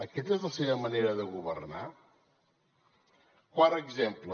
aquesta és la seva manera de governar quart exemple